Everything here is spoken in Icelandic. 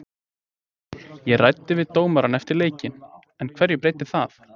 Ég ræddi við dómarann eftir leikinn, en hverju breytir það?